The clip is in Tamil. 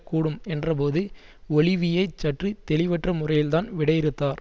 கூடும் என்றபோது ஒலிவியே சற்று தெளிவற்ற முறையில்தான் விடையிறுத்தார்